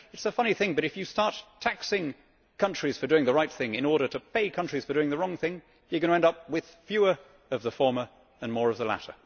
You know, it is a funny thing, but if you start taxing countries for doing the right thing in order to pay countries for doing the wrong thing, you are going to end up with fewer of the former and more of the latter.